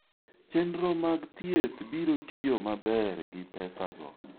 Chenro mag thieth biro tiyo maber gi pesago.